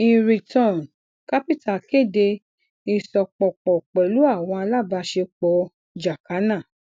inreturn capital kede isopọpọ pẹlu awọn alabaṣepọ jacana